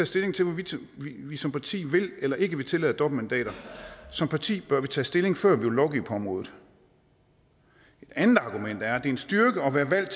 stilling til hvorvidt vi som parti vil eller ikke vil tillade dobbeltmandater som parti bør vi tage stilling før vi vil lovgive på området et andet argument er er en styrke at være valgt